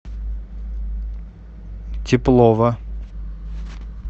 теплова